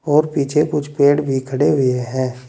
और पीछे कुछ पेड़ भी खड़े हुए है।